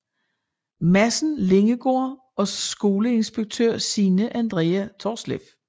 Madsen Lindegaard og skoleinspektør Signe Andrea Tørsleff